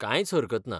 कांयच हरकत ना. .